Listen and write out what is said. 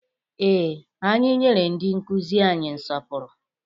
Ee, anyị nyere ndị nkụzi anyị nsọpụrụ.